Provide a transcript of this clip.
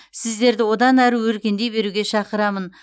сіздерді одан әрі өркендей беруге шақырамын